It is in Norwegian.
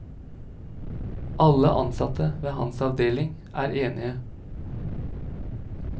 Alle ansatte ved hans avdeling er enige.